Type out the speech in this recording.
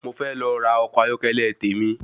Mo fẹ́ lọ ra ọkọ̀ ayọ́kẹ́lẹ́ tèmi.